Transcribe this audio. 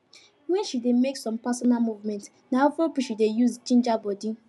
when she dey make some personal movements na afrobeats she dey use ginger body